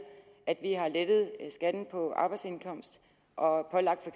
at vi har lettet skatten på arbejdsindkomst og pålagt for